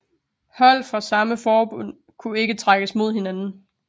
Hold fra samme forbund kunne ikke trækkes mod hinanden